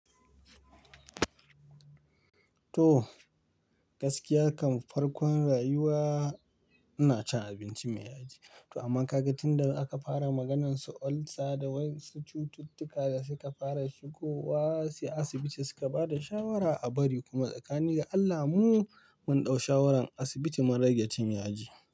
To, gaskiya kan farkon rayuwa ina cin abinci mai yaji. Amma kaga tunda aka fara maganar su olsa da wasu cututtuka da suka fara shigowa, sai asibiti suka bada shawara a bari kuma tsakanin ga Allah mu mun ɗau shawaran asibiti mun rage cin yaji.